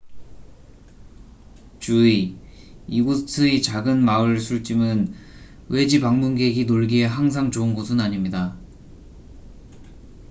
주의 이곳의 작은 마을 술집은 외지 방문객이 놀기에 항상 좋은 곳은 아닙니다